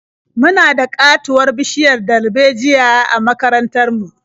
Muna da ƙatuwar bishiyar darbejiya a makarantar mu.